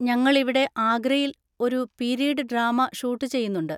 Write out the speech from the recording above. ഞങ്ങളിവിടെ ആഗ്രയിൽ ഒരു പീരീഡ് ഡ്രാമ ഷൂട്ട് ചെയ്യുന്നുണ്ട്.